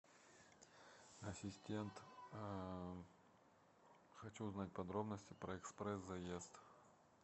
ассистент хочу узнать подробности про экспресс заезд